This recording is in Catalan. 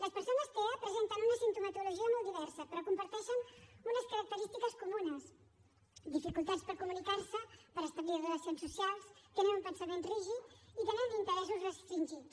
les persones tea presenten una simptomatologia molt diversa però comparteixen unes característiques comunes dificultats per comunicar se per establir relacions socials tenen un pensament rígid i tenen interessos restringits